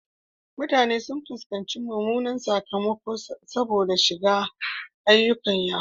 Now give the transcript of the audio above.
Mutane sun fuskanci mummunan sakamako saboda shiga ayyukan yahoo.